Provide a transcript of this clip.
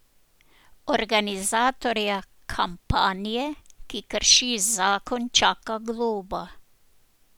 Organizatorja kampanje, ki krši zakon, čaka globa.